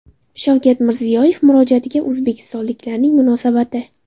Shavkat Mirziyoyev murojaatiga o‘zbekistonliklarning munosabati.